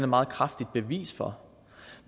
meget kraftigt bevis for